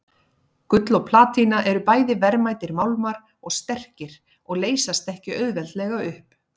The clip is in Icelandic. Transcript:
Gull og platína eru bæði verðmætir málmar og sterkir og leysast ekki auðveldlega upp.